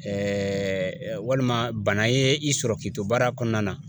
walima bana ye i sɔrɔ k'i to baara kɔnɔna na.